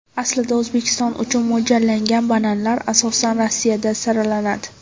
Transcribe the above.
Aslida O‘zbekiston uchun mo‘ljallangan bananlar asosan Rossiyada saralanadi.